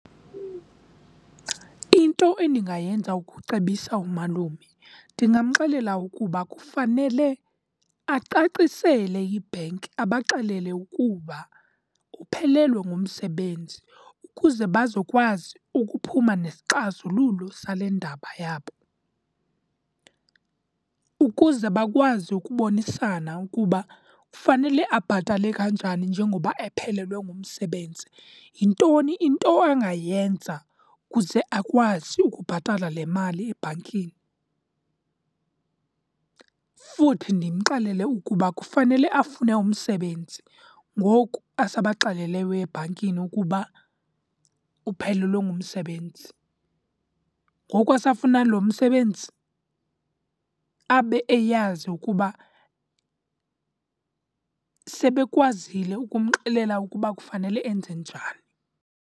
Into endingayenza ukucebisa umalume, ndingamxelela ukuba kufanele acacisele ibhenki, abaxelele ukuba uphelelwe ngumsebenzi ukuze bazawukwazi ukuphuma nesixazululo sale ndaba yabo. Ukuze bakwazi ukubonisana ukuba fanele abhatale kanjani njengoba ephelelwe ngumsebenzi, yintoni into angayenza ukuze akwazi ukubhatala le mali ebhankini. Futhi ndimxelele ukuba kufanele afune umsebenzi ngoku asabaxeleleyo ebhankini ukuba uphelelwe ngumsebenzi. Ngoku asafuna loo msebenzi, abe eyazi ukuba sebekwazile ukumxelela ukuba kufanele enze njani.